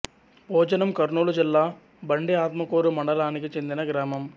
భోజనం కర్నూలు జిల్లా బండి ఆత్మకూరు మండలానికి చెందిన గ్రామం